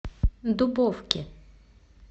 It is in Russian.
дубовки